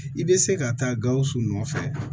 I bɛ se ka taa gawusu nɔfɛ